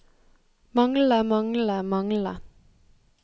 manglende manglende manglende